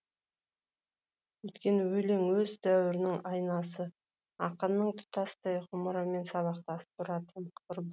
өйткені өлең өз дәуірінің айнасы ақынның тұтастай ғұмырымен сабақтасып тұратын